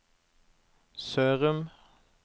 Sørum